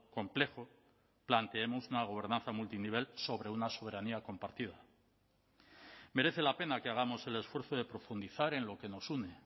complejo planteemos una gobernanza multinivel sobre una soberanía compartida merece la pena que hagamos el esfuerzo de profundizar en lo que nos une